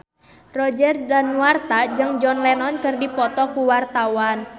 Roger Danuarta jeung John Lennon keur dipoto ku wartawan